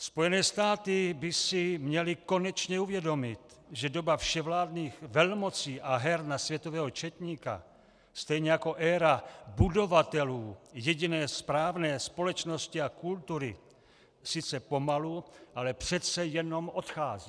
Spojené státy by si měly konečně uvědomit, že doba vševládních velmocí a her na světového četníka, stejně jako éra budovatelů jediné správné společnosti a kultury sice pomalu, ale přece jenom odchází.